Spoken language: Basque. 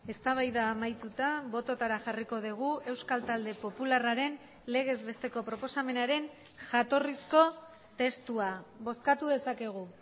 eztabaida amaituta bototara jarriko dugu euskal talde popularraren legez besteko proposamenaren jatorrizko testua bozkatu dezakegu